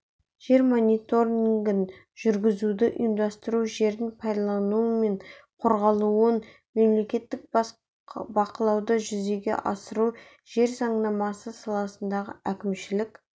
жер мониторингін жүргізуді ұйымдастыру жердің пайдаланылуы мен қорғалуын мемлекеттік бақылауды жүзеге асыру жер заңнамасы саласындағы әкімшілік